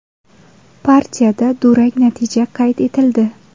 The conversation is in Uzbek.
Partiyada durang natija qayd etildi.